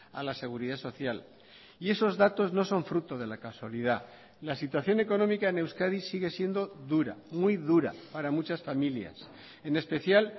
a la seguridad social y esos datos no son fruto de la casualidad la situación económica en euskadi sigue siendo dura muy dura para muchas familias en especial